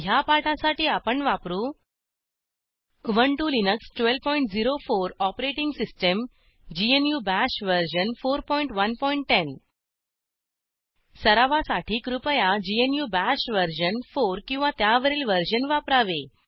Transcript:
ह्या पाठासाठी आपण वापरू Ubuntu Linux 1204 OS GNU Bash version 4110 सरावासाठी कृपया ग्नू बाश वर्जन 4 किंवा त्यावरील वर्जन वापरावे